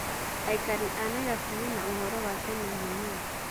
Aikari a Nairobi mena ũhoro wa tene mũnini.